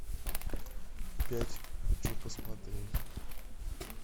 пять хочу посмотреть